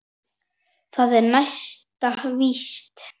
Það er næsta víst.